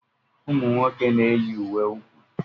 Ụmụ nwoke na-eyi uwe úkwú.